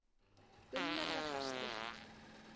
Gunnar var hastur.